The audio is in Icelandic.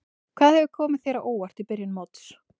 Hvað hefur komið þér á óvart í byrjun móts?